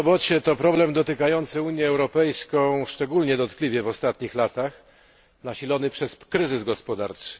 Bezrobocie to problem dotykający Unię Europejską szczególnie dotkliwie w ostatnich latach, nasilony przez kryzys gospodarczy.